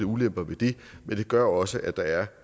ulemper ved det men det gør også at der er